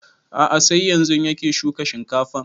A'a sai yanzun yake shuka shinkafan